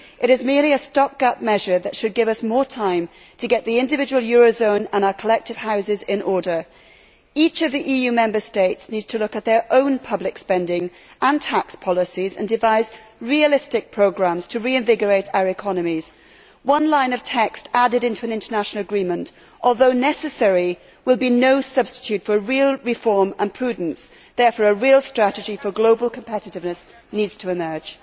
It is merely a stop gap measure that should give us more time to get the individual eurozone and our collective houses in order. Each of the EU Member States needs to look at its own public spending and tax policies and devise realistic programmes to reinvigorate our economies. One line of text added into an international agreement, although necessary, will be no substitute for real reform and prudence. Therefore, a real strategy for global competitiveness needs to emerge.